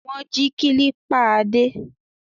Wọ́n jí kílípà Adé?